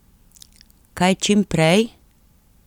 Kaj čim prej?